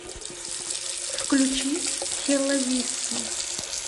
включи хелавису